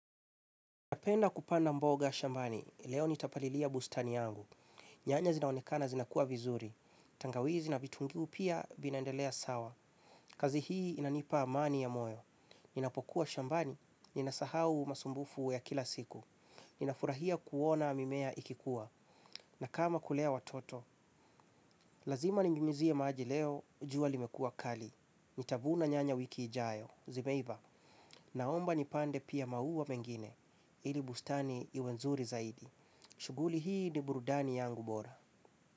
Napenda kupanda mboga shambani, leo nitapalilia bustani yangu. Nyanya zinaonekana zinakuwa vizuri. Tangawizi na vitungu pia vinaendelea sawa. Kazi hi inanipa amani ya moyo. Ninapokuwa shambani, ninasahau masumbufu ya kila siku. Ninafurahia kuona mimea ikikuwa. Na kama kulea watoto, lazima ninyunyuzie maji leo, jua limekua kali. Nitavuna nyanya wiki ijayo, zimeiva. Naomba nipande pia maua mengine. Ili bustani iwe nzuri zaidi. Shuguli hii ni burudani yangu bora.